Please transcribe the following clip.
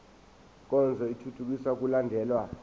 nkonzo ithuthukisa ukulandelwa